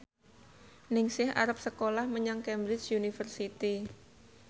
Ningsih arep sekolah menyang Cambridge University